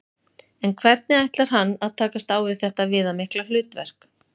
En hvernig ætlar hann að takast á við þetta viðamikla hlutverk?